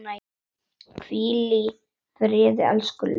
Hvíl í friði, elsku Laugi.